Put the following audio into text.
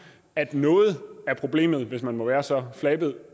at noget af problemet hvis man må være så flabet